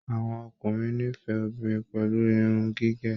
Àwọn ọkùnrin n'ifẹ obìnrin pẹ̀lú Irun gigun.